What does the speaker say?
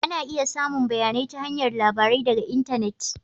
Ana iya samun bayanai ta hanyar labarai daga intanet